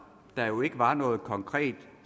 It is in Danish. der jo ikke var noget konkret